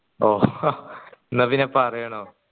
ഓ എന്നാ പിന്നെ പറയടോ